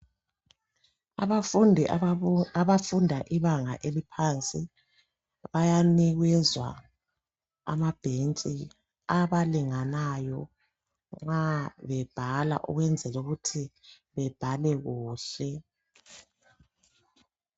Abafundi abafunda ibanga eliphansi bayanikezwa amabhetshi abalinganayo nxa bebhala ukwenzela ukuthi bebhale kuhle.